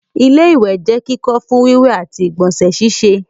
ilé-ìwẹ̀ jẹ́ kíkọ́ fún ìwẹ̀ wíwẹ̀ àti ìgbọ̀nsẹ̀ síse